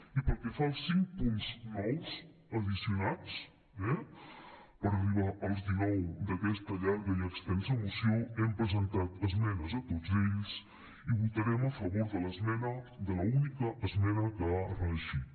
i pel que fa als cinc punts nous addicionats eh per arribar als dinou d’aquesta llarga i extensa moció hem presentat esmenes a tots ells i votarem a favor de l’esmena de l’única esmena que ha reeixit